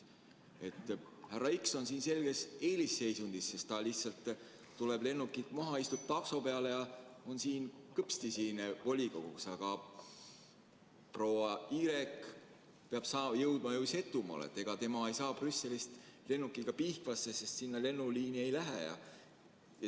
Härra X on siin selges eelisseisundis, ta lihtsalt tuleb lennukilt maha, istub takso peale ja on kõpsti siin volikogus, aga proua Y peab jõudma ju Setomaale, ega tema ei saa Brüsselist lennukiga Pihkvasse, sest sinna lennuliini ei lähe.